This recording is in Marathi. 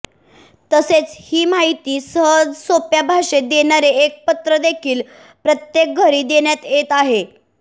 तसेच ही माहिती सहजसोप्या भाषेत देणारे एक पत्रकदेखील प्रत्येक घरी देण्यात येत आहे